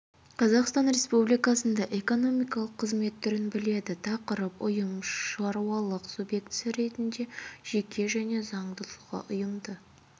қазақстан республикасында экономикалық қызмет түрін біледі тақырып ұйым шаруашылық субъектісі ретінде жеке және заңды тұлға ұйымды